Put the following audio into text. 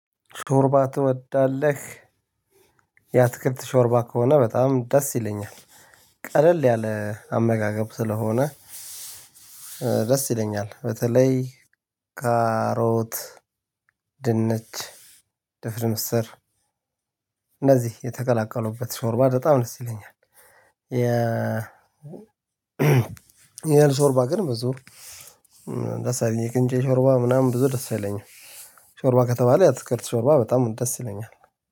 ሾርባ ትወዳለህ የአትክልት ሾርባ ከሆነ በጣም ደስ ይለኛል። ቀለል ያለ አመጋገብ ስለሆነ። ደስ ይለኛል በተለይ ካሮት ድንች ድፍን ምስር እንደዚህ የተቀላቀሉበት ሾርባ በጣም ደስ ይለኛል። የ የእህል ሾርባ ግን በዙ ደስ አይለኝም። የቅንጬ ሾርባ ምናምን ብዙ ደስ አይለኛም። ሾርባ ከተባለ የአትክልት ሾርባ በጣም ደስ ይለኛል።